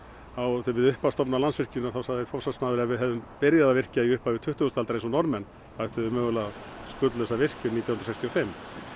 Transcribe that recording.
á upphafsdaga Landsvirkjunar þá sagði forsvarsmaður að ef við hefðum byrjað að virkja í upphafi tuttugustu aldar eins og Norðmenn þá ættu þeir mögulega skuldlausa virkjun nítján hundruð sextíu og fimm